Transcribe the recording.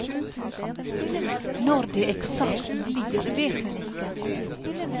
Når det eksakt blir vet hun ikke.